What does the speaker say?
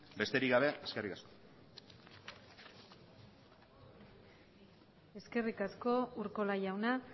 besterik gabe eskerrik asko eskerrik asko urkola jauna